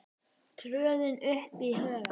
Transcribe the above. tröðin upp í hugann.